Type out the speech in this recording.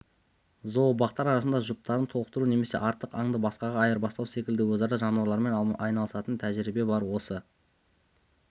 зообақтар арасында жұптарын толықтыру немесе артық аңды басқаға айырбастау секілді өзара жануарлармен алмасатын тәжірибе бар осы